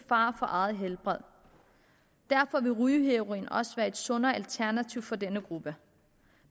fare for eget helbred derfor vil rygeheroin også være et sundere alternativ for denne gruppe